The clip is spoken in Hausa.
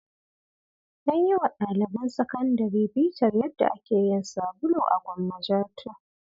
An yi wa daliban sakandare bitar yadda ake yin sabulu a Gwammaja 2.